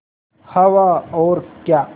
हवा और क्या